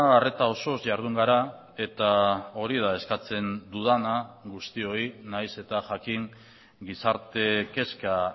arreta osoz jardun gara eta hori da eskatzen dudana guztioi nahiz eta jakin gizarte kezka